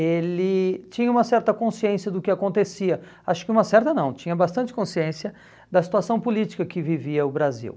ele tinha uma certa consciência do que acontecia, acho que uma certa não, tinha bastante consciência da situação política que vivia o Brasil.